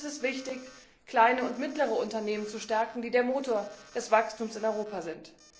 Und es ist wichtig, kleine und mittlere Unternehmen zu stärken, die der Motor des Wachstums in Europa sind.